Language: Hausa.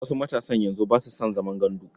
Wasu matasan yanzu ba su san zaman gandu.